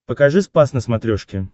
покажи спас на смотрешке